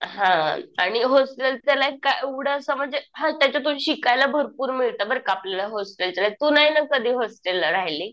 हा. आणि होस्टेलचं लाईफ काय एवढं असं म्हणजे हा त्याच्यातून शिकायला भरपूर मिळतं बरं का आपल्याला होस्टेलच्या. तू नाही ना कधी होस्टेलला राहिली.